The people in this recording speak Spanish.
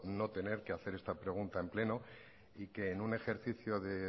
no tener que hacer esta pregunta en pleno y que en un ejercicio de